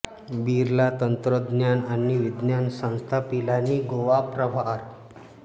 बिर्ला तंत्रज्ञान आणि विज्ञान संस्था पिलानी गोवा प्रावार